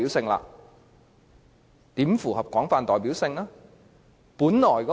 可是，它如何符合廣泛代表性呢？